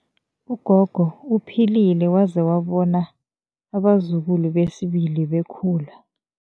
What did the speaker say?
Ugogo uphilile waze wabona abazukulu besibili bekhula.